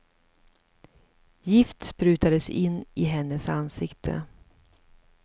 Gift sprutades in i hennes ansikte.